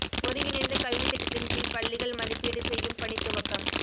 ஒருங்கிணைந்த கல்வித் திட்டத்தின் கீழ் பள்ளிகள் மதிப்பீடு செய்யும் பணித் துவக்கம்